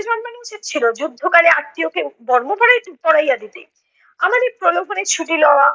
জন্মানো উচিত ছইলো যুদ্ধকালে আত্মীয়কে বর্ম পড়াই~ পড়াইয়া দিতে। আমার এই প্রলোভনের ছুটি লওয়া